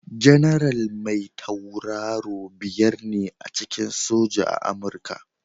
Janaral mai tauraro biyar ne a cikin soja a Amurka.